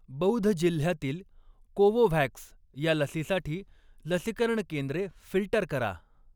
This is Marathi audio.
बौध जिल्ह्यातील कोवोव्हॅक्स ह्या लसीसाठी लसीकरण केंद्रे फिल्टर करा.